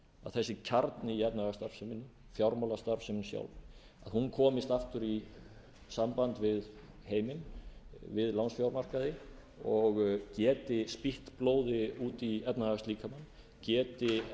þessi kjarni í efnahagsstarfseminni fjármálastarfsemin sjálf komist aftur í samband við heiminn við lánsfjármarkaði og geti spýtt blóði út í efnahagslíkamann geti